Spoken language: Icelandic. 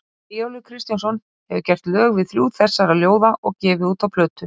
Eyjólfur Kristjánsson hefur gert lög við þrjú þessara ljóða og gefið út á plötum.